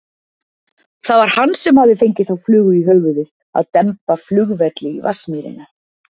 Það var hann sem hafði fengið þá flugu í höfuðið að demba flugvelli í Vatnsmýrina.